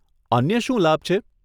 અન્ય શું લાભ છે?